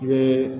I bɛ